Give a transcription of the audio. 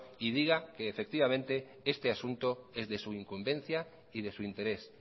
y diga que este asunto es de su incumbencia y de su interés